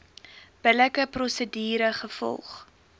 billike prosedure gevolg